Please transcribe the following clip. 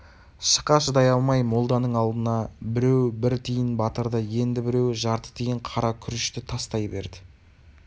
шықа шыдай алмай молданың алдына біреуі бір тиын батырды енді біреуі жарты тиын қара күрешті тастай берді